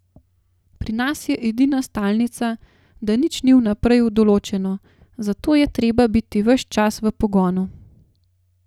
Pri nas je edina stalnica, da nič ni vnaprej določeno, zato je treba biti ves čas v pogonu.